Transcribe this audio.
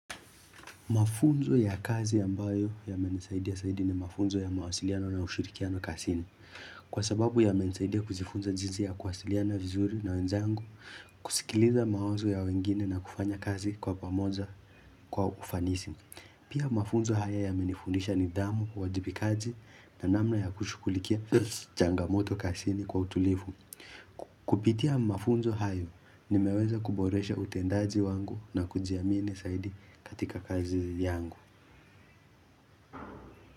Mafunzo ya kazi ambayo yamenisaidia zaidi ni mafunzo ya mawasiliano na ushirikiano kazini. Kwa sababu yamenisaidia kujifunza jinsi ya kuwasiliana vizuri na wenzangu, kusikiliza mawazo ya wengine na kufanya kazi kwa pamoja kwa ufanisi. Pia mafunzo haya yamenifundisha nidhamu, uwajibikaji na namna ya kushughulikia changamoto kazini kwa utulivu. Kupitia mafunzo hayo, nimeweza kuboresha utendaji wangu na kujiamini zaidi katika kazi yangu.